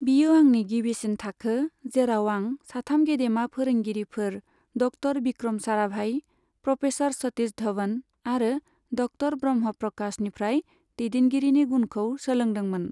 बियो आंनि गिबिसिन थाखो, जेराव आं साथाम गेदेमा फोरोंगिरिफोर डक्ट'र बिक्रम साराभाइ, प्रफेसार सतिश धभन आरो डक्ट'र ब्रह्म प्रकाशनिफ्राय दैदेनगिरिनि गुनखौ सोलोंदोंमोन।